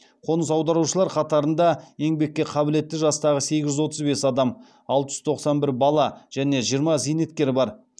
қоныс аударушылар қатарында еңбекке қабілетті жастағы сегіз жүз отыз бес адам алты жүз тоқсан бір бала және жиырма зейнеткер бар